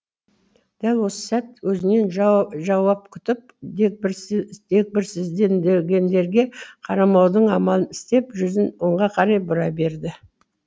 дәл осы сәт өзінен жауап күтіп дегбірсізденгендерге қарамаудың амалын істеп жүзін оңға қарай бұра берді